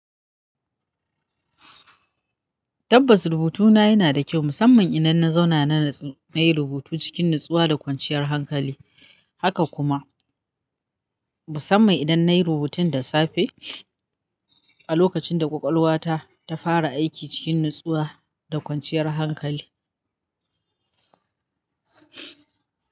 Tabbas, rubutuna yana da kyau, musamman idan na zauna na natsu nayi rubutu cikin natsuwa da kwanciyar hankali. Haka kuma, musamman idan na yi rubutun da safe a lokacin da ƙwaƙwalwata ta fara aiki cikin natsuwa da kwanciyar hankali.